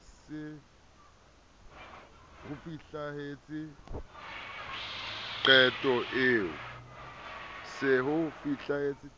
se o fihletse